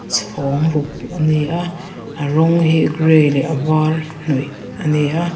chhawng ruk ani a a rawng hi gray leh a var hnawih ani a.